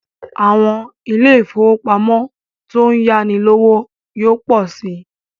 Àwọn ilé ifówópamọ́ tó ń yáni lówó yóò pọ̀ si